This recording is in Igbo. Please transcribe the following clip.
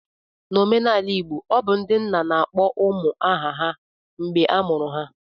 N'omenala Igbo, obu ndị nna na akpọ ụmụ ha aha mgbe a mụrụ ha